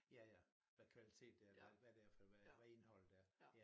Ja ja hvad kvalitet det er hvad hvad det er for hvad hvad indeholder det af ja